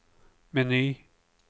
meny